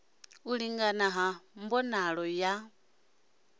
u lingana ha mbonalo ya